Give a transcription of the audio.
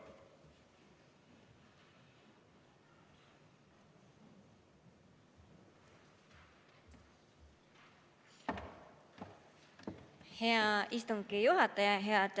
Hea istungi juhataja!